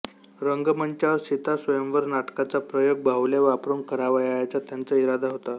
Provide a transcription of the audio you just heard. रंगमंचावर सीता स्वयंवर नाटकाचा प्रयोग बाहु्ल्या वापरून करावयाचा त्यांचा इरादा होता